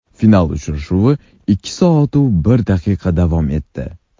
Final uchrashuvi ikki soat-u bir daqiqa davom etdi.